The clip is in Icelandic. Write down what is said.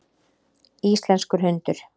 Íslenskur hundur.